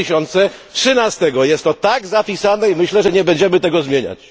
2013. Jest to tak zapisane i myślę, że nie będziemy tego zmieniać.